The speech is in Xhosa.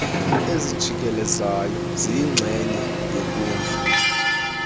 ezijikelezayo ziyingxenye yenkundla